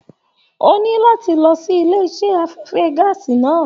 O ní láti lọ sílé iṣẹ afẹfẹ gàásí náà.